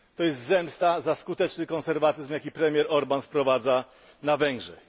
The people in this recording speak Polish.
To jest zemsta za skuteczny konserwatyzm, jaki premier Orbán wprowadza na Węgrzech.